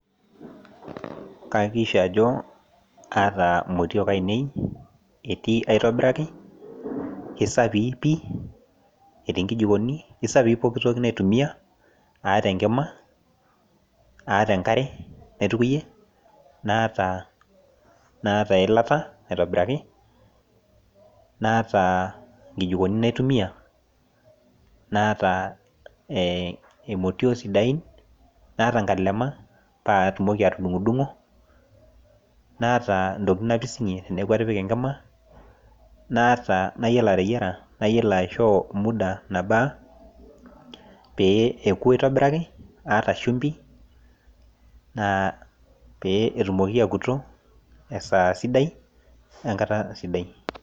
Kaakissha aji aata motiok ainei aisapii aitobiraki. aisafi pii. etii nkijiikoni aisafii pooki toki naitumiae. naata enkima, naata enkare naitukuyie. naata eilata aitobiraki. naata nkijiikoni naitumiae. naata,e motiok sidain naata, nkalema. paa ketumoki atdudungu dungo. naata ntokitin napisingie teneeku atipika enkima. naata. nayiolo ateyiera. nayiolo aishoo muda nabaa. pee eku aitobiraki. aata shumpi pee, etumoki aakutp esaa sidai. wwnkata sidai.